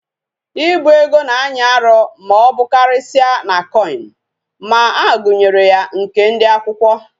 Ibu ego na anyi Aru ma obukarisia na coin, ma agunyere ya nke ndi akwukwo